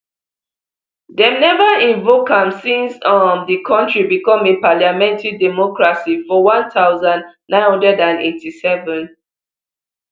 dem never invoke am since um the country become a parliamentary democracy for one thousand, nine hundred and eighty-seven